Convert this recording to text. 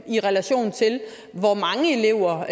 i relation til hvor mange elever